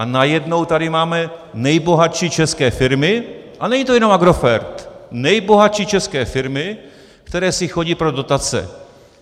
A najednou tady máme nejbohatší české firmy, a není to jenom Agrofert, nejbohatší české firmy, které si chodí pro dotace.